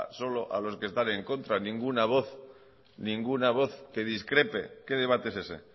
solo a los que están en contra ninguna voz ninguna voz que discrepe qué debate es ese